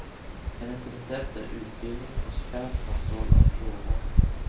Hennes recept är utbildning och skarp kontroll av råvaror.